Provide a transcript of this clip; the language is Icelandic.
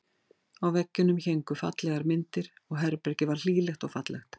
Á veggjunum héngu fallegar myndir og herbergið var hlýlegt og fallegt.